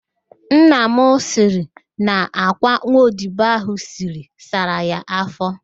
Nna m sịrị na àkwá nwa odibo ahụ siri sara ya afọ